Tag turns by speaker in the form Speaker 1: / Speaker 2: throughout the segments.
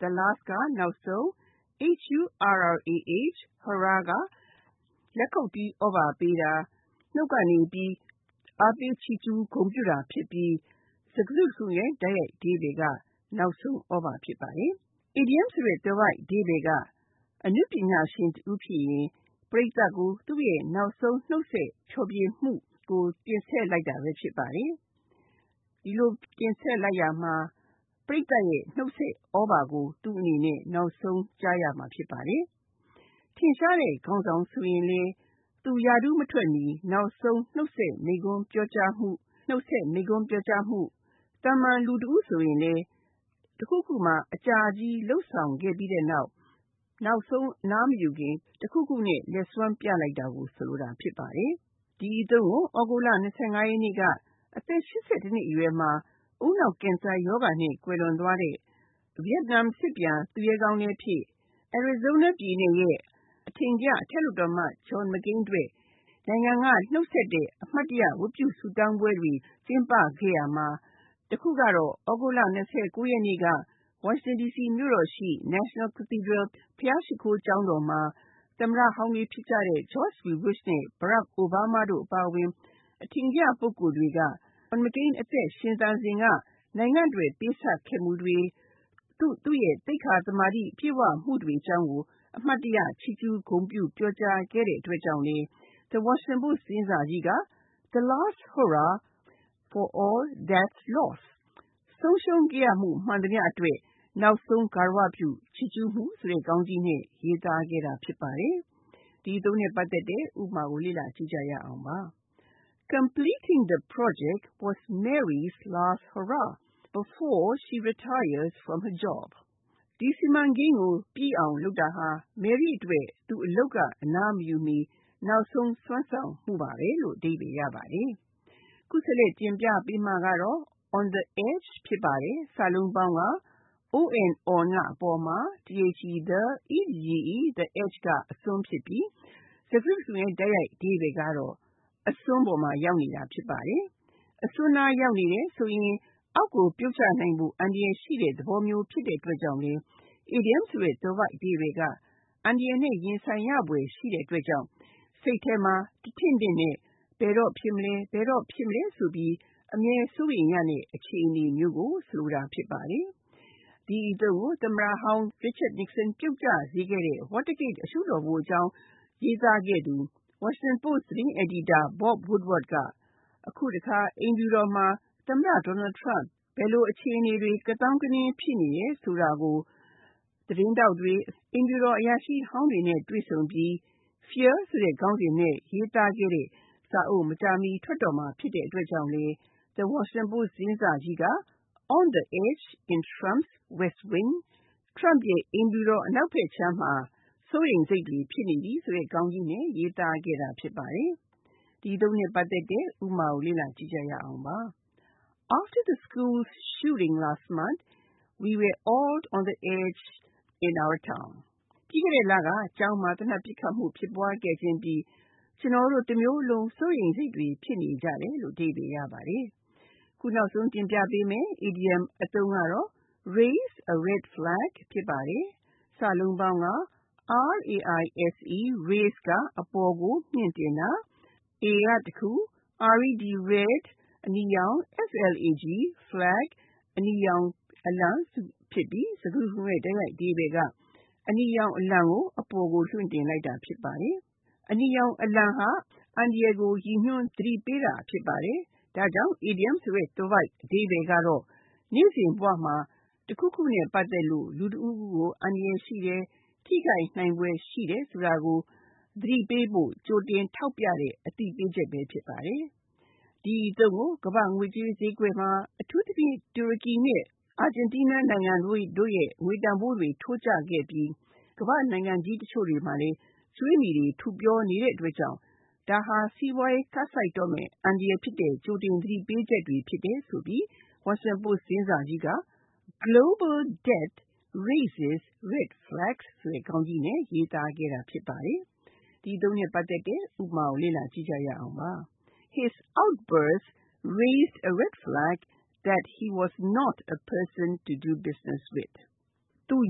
Speaker 1: The Last က နောက်ဆုံး၊ Hurrah က လက်ခုပ်တီး သြဘာပေးတာ၊” Hooray” ဆိုပြီး နှုတ်ကနေပြီး အားပေး ချီးကျူးတာဖြစ်ပြီး စကားစုတခုလုံးရဲ့ တိုက်ရိုက်အဓိပ္ပါယ်က “နောက်ဆုံးသြဘာ” ဖြစ်ပါတယ်။ အီဒီယံဆိုတဲ့ သွယ်ဝိုက်အဓိပ္ပါယ်က အနုပညာရှင်တဦးဖြစ်ရင် ပရိသတ်ကို သူ့ရဲ့ နောက်ဆုံးနှုတ်ဆက် ဖျော်ဖြေမှုကို တင်ဆက်လိုက်တာဘဲ ဖြစ်ပါတယ်။ ဒီလို တင်ဆက်လိုက်ရာမှာ ပရိသတ်ရဲ့ နှုတ်ဆက်သြဘာကို သူ့အနေနဲ့ နောက်ဆုံးကြားရမှာ ဖြစ်ပါတယ်။ ထင်ရှားတဲ့ ခေါင်းဆောင်ဆိုရင်လည်း သူရာထူးကမထွက်မှီ နောက်ဆုံး နှုတ်ဆက်မိန့်ခွန်း ပြောကြားမှု ဒါမှမဟုတ် ကြိုးပမ်းမှုဖြစ်နိုင်သလို၊သာမန်လူတဦးဆိုရင်လည်း အလုပ်တခုခုမှာ အကြာကြီးလုပ်ဆောင်ခဲ့ပြီး၊ နောက်ဆုံး အနားမယူခင် တခုခုနဲ့ လက်စွမ်းပြလိုက်တာကို ဆိုလိုတာ ဖြစ်ပါတယ်။ ဒီအသုံးကို သြဂုတ်လ ၂၅ ရက်နေ့က အသက် (၈၁) နှစ်အရွယ်မှာ ဦးနှောက်ကင်ဆာရောဂါနဲ့ ကွယ်လွန်သွားတဲ့ ဗီယက်နမ်စစ်ပြန် သူရဲကောင်းလည်းဖြစ်၊ Arizona ပြည်နယ်ရဲ့ အထင်ကရ အထက်လွှတ်တော်အမတ်လည်းဖြစ်တဲ့ John McCain အတွက် နိုင်ငံက နောက်ဆုံးနှုတ်ဆက်တဲ့ အမှတ်တရ ဝတ်ပြုဆုတောင်းပွဲတွေ ကျင်းပခဲ့ရာမှာ စက်တင်ဘာ (၁) ရက်နေ့က ဝါရှင်တန် ဒီစီမြို့တော်ရှိ National Cathedral ဘုရှားရှိခိုး ကျောင်းတော်မှာ သမ္မတဟောင်းတွေဖြစ်ကြတဲ့ George W. Bush နဲ့ Barack Obama တို့ အပါအဝင် အထင်ကရပုဂ္ဂိုလ်တွေက John McCain သက်ရှိထင်ရှားစဉ် နိုင်ငံ့အတွက် ပေးဆပ်ခဲ့မှုတွေ၊ သူ့ရဲ့သိက္ခာသမာဓိ ပြည့်ဝမှုတွေအကြောင်းကို အမှတ်တရ ချီးကျူး ဂုဏ်ပြု ပြောကြားခဲ့ကြတဲ့အတွက် The Washington Post သတင်းစာကြီးက “The Last Hurrah for All That’s Lost “ ဆုံးရှုံးခဲ့ရမှုမှန်သမျှအတွက် နောက်ဆုံးဂါရဝပြု ချီးကျူးမှု” ဆိုတဲ့ ခေါင်းကြီးနဲ့ ရေးသားခဲ့တာ ဖြစ်ပါတယ်။ ဥပမာ Mary was happy to complete the project as the “last hurrah” before she retired from her job. Mary က သူအလုပ်က အနားမယူမီနောက်ဆုံး စွမ်းဆောင်မှုအဖြစ် ဒီစီမံကိန်းကို ပြီးမြောက်အောင်လုပ်နိုင်တဲ့အတွက်ဝမ်းသာမိနေတယ်။ (၂) On the Edge On က အပေါ်မှာ၊ the edge က အစွန်းဖြစ်ပြီး စကားစုတခုလုံးရဲ့ တိုက်ရိုက်အဓိပ္ပါယ်က“အစွန်းမှာ ရောက်နေတာ” ဖြစ်ပါတယ်။ အစွန်းနားရောက်နေတယ်ဆိုရင် အောက်ကိုပြုတ်ကျနိုင်ဖို့ အန္တရာယ်ရှိတဲ့သဘောမျိုး ဖြစ်တဲ့အတွက်ကြောင့်လည်း အီဒီယံဆိုတဲ့ သွယ်ဝိုက်အဓိပ္ပါယ်က အန္တရာယ်နဲ့ရင်ဆိုင်ရဖွယ် ရှိတဲ့အတွက် စိတ်ထဲမှာ တထင့်ထင့်နဲ့ ဘယ်တော့ဖြစ်မလဲ၊ ဘယ်တော့ဖြစ်မလဲဆိုပြီး အမြဲစိုးရိမ်ရမယ့် အခြေအနေမျိုးကို ဆိုလိုတာ ဖြစ်ပါတယ်။ ဒီအသုံးကို သမ္မတဟောင်း Richard Nixon ပြုတ်ကျစေခဲ့တဲ့ Watergate အရှုပ်တော်ပုံအကြောင်း ရေးသားခဲ့သူ The Washington Post သတင်းစာ အယ်ဒီတာ Bob Woodward က အခုတခါ အိမ်ဖြူတော်မှာ သမ္မတ Donald Trump လက်ထက် ဘယ်လို အခြေအနေတွေ ကသောင်းကနင်း ဖြစ်နေတယ်ဆိုတာကို အမေရိကန်အစိုးရအရာရှိဟောင်းတွေနဲ့ တွေ့ဆုံပြီး Fear ဆိုတဲ့ ခေါင်းစဉ်နဲ့ ရေးသားခဲ့တဲ့စာအုပ် မကြာမှီ ထွက်တော့မှာ ဖြစ်တဲ့အတွက် The Washington Post သတင်းစာကြီးက “On the edge in Trump’s West Wing “ Trump ရဲ့ အိမ်ဖြူတော်အနောက်ဘက်ခြမ်းမှာ စိုးရိမ်စိတ်တွေ ဖြစ်နေပြီဆိုတဲ့ခေါင်းကြီးနဲ့ ရေးသားခဲ့တာ ဖြစ်ပါတယ်။ ဥပမာ After the school shooting last month, we were all living “on the edge” in our town. ပြီးခဲ့တဲ့လက ကျောင်းမှာ သေနတ်ပစ်ခတ်မှုဖြစ်ပွားခဲ့အပြီး၊ ကျနော်တို့မြို့မှာအားလုံး စိုးရိမ်စိတ်နဲ့နေကြရတယ်။ (၃) Raise a red flag Raise က အပေါ်ကို မြှင့်တင်တာ၊ a red flag အနီရောင် အလံဖြစ်ပြီး စကားစုတခုလုံးရဲ့ အဓိပ္ပါယ်က အနီရောင်အလံကို မြှင့်တင်လိုက်တာ ဖြစ်ပါတယ်။ အနီရောင်အလံဟာ အန္တရာယ်ကို ရည်ညွန်း သတိပေးတာ ဖြစ်ပါတယ်။ ဒါကြောင့် အီဒီယံဆိုတဲ့ သွယ်ဝိုက် အဓိပ္ပါယ်က နေ့စဉ်ဘဝမှာ တခုခုနဲ့ပတ်သက်လို့ လူတဦးဦးကို အန္တရာယ်ရှိတယ်၊ ထိခိုက်နိုင်ဖွယ် ရှိတယ်ဆိုတာကို သတိပေးတဲ့ ကြိုတင်အသိပေးချက်ဘဲ ဖြစ်ပါတယ်။ တနည်း စိုးရိမ်စရာရှိတယ်ဆိုတဲ့အကြာင်း အရိပ်လက္ခဏာဖြစ်ပါတယ်။ ဒီအသုံးကို ကမ္ဘာ့ငွေကြေးဈေးကွက်မှာ အထူးသဖြင့် တူရကီနဲ့ အာဂျင်တီးနား နိုင်ငံတို့ရဲ့ ငွေတန်ဖိုးတွေ ထိုးကျခဲ့ပြီး ကမ္ဘာ့နိုင်ငံကြီးတချို့တွေမှာလည်း ကြွေးမြီတွေ ထူပြောနေတဲ့ အတွက်၊ ဒါဟာ စီးပွားရေးကပ်ဆိုက်တော့မယ့် အန္တရာယ်ဖြစ်တဲ့ ကြိုတင် သတိပေးချက်တွေ ဖြစ်တယ်ဆိုပြီး The Washington Post သတင်းစာကြီးက “Global debt raises red flags”ဆိုတဲ့ ခေါင်းကြီးနဲ့ ရေးသားခဲ့တာ ဖြစ်ပါတယ်။ ဥပမာ His behavior raised “a red flag” that he was not the right person for the job. သူ့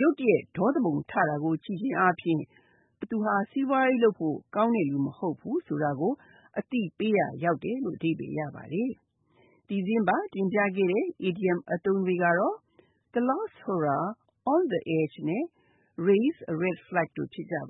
Speaker 1: ရဲ့အပြုအမူအရ သူဟာ ဒီအလုပ်အတွက် သင့်တော်တဲ့ လူမဟုတ်ဘူးဆိုတာကို သတိပေးရာ ရောက်တယ်။ ဒီသတင်းပတ် တင်ပြပေးခဲ့တဲ့ idioms အသုံးတွေက The Last Hurrah, On the edge နဲ့ Raise a red flag တို့ ဖြစ်ကြပါ